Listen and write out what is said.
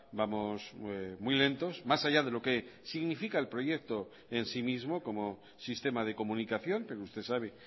vamos muy lentos más allá de lo que significa el proyecto en sí mismo como sistema de comunicación pero usted sabe